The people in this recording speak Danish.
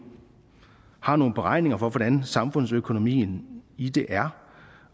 har nogle beregninger for hvordan samfundsøkonomien i det er